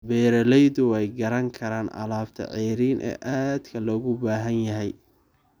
Beeraleydu way garan karaan alaabta ceeriin ee aadka loogu baahan yahay.